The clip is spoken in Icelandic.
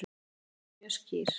Dómarinn var mjög óskýr